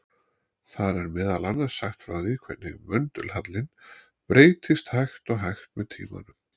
Þar er meðal annars sagt frá því hvernig möndulhallinn breytist hægt og hægt með tímanum.